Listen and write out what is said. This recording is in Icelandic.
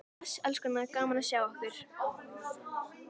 Bless elskurnar, gaman að sjá ykkur!